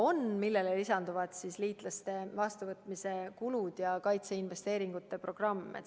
Ja sellele lisanduvad liitlaste vastuvõtmise kulud ja kaitseinvesteeringute programm.